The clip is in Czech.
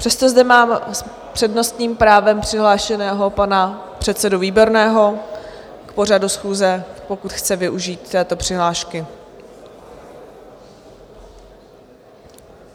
Přesto zde mám s přednostním právem přihlášeného pana předsedu Výborného k pořadu schůze, pokud chce využít této přihlášky.